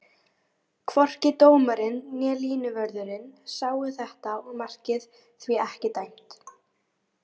Hvorki dómarinn né línuvörðurinn sáu þetta og markið því ekki dæmt.